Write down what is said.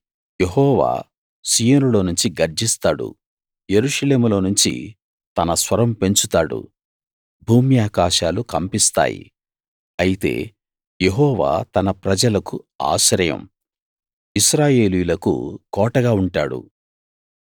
యెహోవా సీయోనులో నుంచి గర్జిస్తాడు యెరూషలేములోనుంచి తన స్వరం పెంచుతాడు భూమ్యాకాశాలు కంపిస్తాయి అయితే యెహోవా తన ప్రజలకు ఆశ్రయం ఇశ్రాయేలీయులకు కోటగా ఉంటాడు